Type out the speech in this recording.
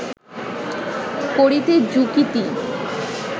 করিতে যুকতি